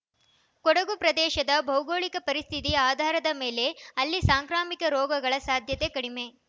ಕೊಡಗು ಪ್ರದೇಶದ ಭೌಗೋಳಿಕ ಪರಿಸ್ಥಿತಿ ಆಧಾರದ ಮೇಲೆ ಅಲ್ಲಿ ಸಾಂಕ್ರಾಮಿಕ ರೋಗಗಳ ಸಾಧ್ಯತೆ ಕಡಿಮೆ